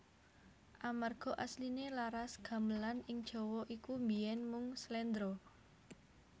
Amarga asliné laras Gamelan ing Jawa iku biyèn mung slendra